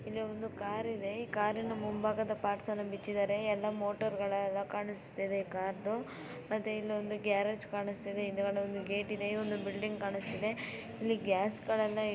ಇಲ್ಲಿ ಒಂದು ಕಾರ್ ಇದೆ ಕಾರಿನ ಮುಂಭಾಗ ಪಾರ್ಟ್ಸನ್ನು ಬಿಚ್ಚಿದ್ದಾರೆ ಎಲ್ಲಾ ಮೋಟರ್ಗಳೆಲ್ಲ ಕಾಣಿಸ್ತಿದವೆ ಕಾರದು ಮತ್ತೆ ಇಲ್ಲೊಂದು ಗ್ಯಾರೇಜ್ ಕಾಣಿಸ್ತಾ ಇದೆ .ಹಿಂದ್ಗಡೆ ಗೇಟ್ ಇದೆ ಒಂದು ಬಿಲ್ಡಿಂಗ್ ಕಾಣಿಸ್ತಾ ಇದೆ. ಇಲ್ಲಿ ಗ್ಯಾಸ್ ಗಳನ್ನೆಲ್ಲ